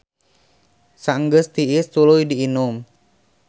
Saenggeus tiis tuluy diinum.